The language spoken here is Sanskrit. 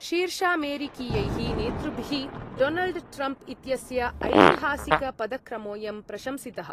शीर्षामेरिकीयैः नेतृभिः डोनल्ड् ट्रम्प् इत्यस्य ऐतिहासिकपदक्रमोयं प्रशंसितः।